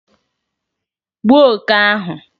gbuo oke ahụ!